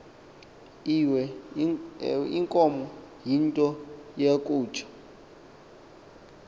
iweenkomo yinto yakutsha